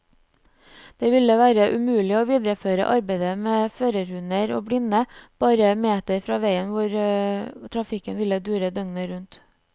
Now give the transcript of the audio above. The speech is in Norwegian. Det ville være umulig å videreføre arbeidet med førerhunder og blinde bare meter fra veien hvor trafikken ville dure døgnet rundt.